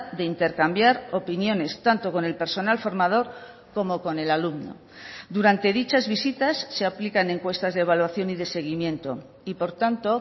de intercambiar opiniones tanto con el personal formador como con el alumno durante dichas visitas se aplican encuestas de evaluación y de seguimiento y por tanto